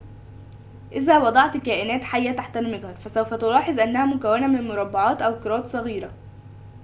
إذا وضعت كائنات حية تحت المجهر فسوف تلاحظ أنها مكوّنة من مربعات أو كرات صغيرة